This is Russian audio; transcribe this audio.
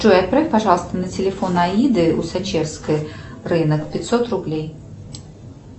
джой отправь пожалуйста на телефон аиды усачевской рынок пятьсот рублей